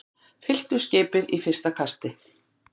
Fylltu skipið í fyrsta kasti